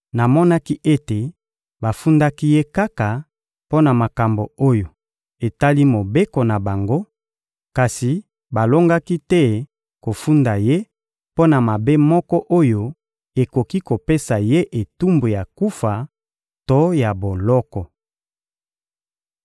Namonaki ete bafundaki ye kaka mpo na makambo oyo etali mobeko na bango, kasi balongaki te kofunda ye mpo na mabe moko oyo ekoki kopesa ye etumbu ya kufa to ya boloko.